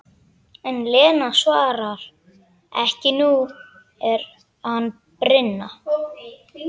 En Lena svarar ekki, nú er annað brýnna.